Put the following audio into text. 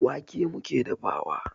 Wake muke dafawa.